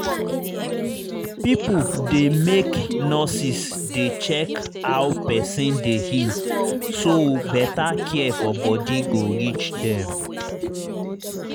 pipo dey make nurses dey check how person dey heal so better care for body go reach dem